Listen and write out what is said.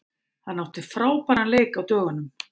Hann átti frábæran leik á dögunum.